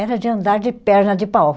Era de andar de perna de pau.